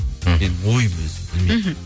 мхм енді ойым өзім білмеймін мхм